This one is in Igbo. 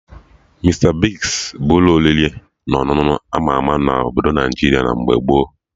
Mista Bigz bụ ụlọ oriri na ọṅụṅụ ama ama na Obodo Naijiria mgbe gboo